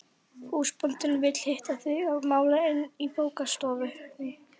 En munu bæjaryfirvöld Vestmannaeyja sækja forkaupsréttinn varðandi þá sölu?